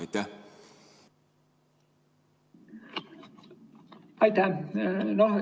Aitäh!